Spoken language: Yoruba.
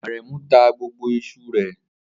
Aremu ta gbogbo iṣu rẹ̀